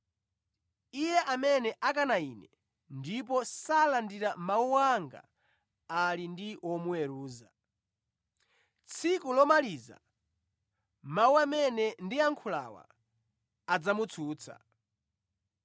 Iye amene akana Ine ndipo salandira mawu anga ali ndi womuweruza. Tsiku lomaliza mawu amene ndiyankhulawa adzamutsutsa.